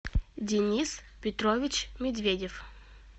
денис петрович медведев